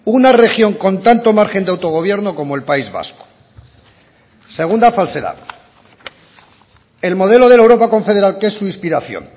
una región con tanto margen de autogobierno como el país vasco según falsedad el modelo de la europa confederal que es su inspiración